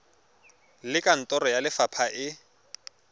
le kantoro ya lefapha e